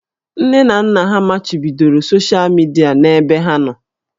Nne na nna ha machibidoro soshịa midia n'ebe ha nọ